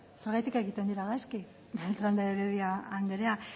gaizki beltrán de heredia anderea